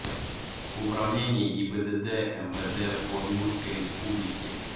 управление гибдд мвд по удмуртской республике